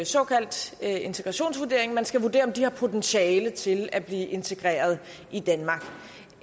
såkaldt integrationsvurdering man skal vurdere om de har potentiale til at blive integreret i danmark